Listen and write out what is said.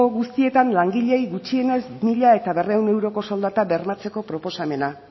guztietan langileei gutxienez mila berrehun euroko soldata bermatzeko proposamena